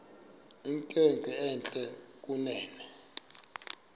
inkwenkwe entle kunene